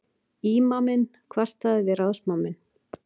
Ímaminn kvartaði við ráðsmanninn.